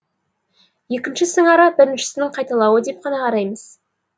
екінші сыңары біріншісінің қайталауы деп қана қараймыз